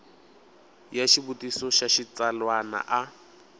ya xivutiso xa xitsalwana a